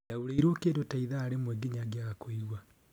Ndaũrirũo kĩndũ ta ithaa rĩmwe nginya ngĩaga kũigwa.